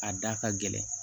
A da ka gɛlɛn